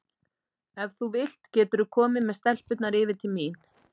Ef þú vilt geturðu komið með stelpurnar yfir til mín.